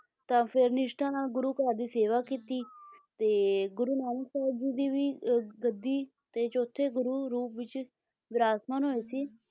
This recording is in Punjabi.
ਤਾਂ ਫੇਰ ਨਿਸ਼ਠਾ ਨਾਲ ਗੁਰੂ ਘਰ ਦੀ ਸੇਵਾ ਕੀਤੀ ਤੇ ਗੁਰੂ ਨਾਨਕ ਸਾਹਿਬ ਜੀ ਦੀ ਵੀ ਅਹ ਗੱਦੀ ਤੇ ਚੌਥੇ ਗੁਰੂ ਰੂਪ ਵਿੱਚ ਵਿਰਾਜਮਾਨ ਹੋਏ ਸੀ,